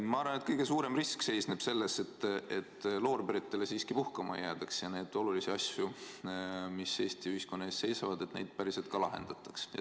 Ma arvan, et kõige suurem risk seisneb selles, et siiski loorberitele puhkama jäädakse, aga tähtis on, et neid olulisi probleeme, mis Eesti ühiskonna ees seisavad, ka päriselt lahendatakse.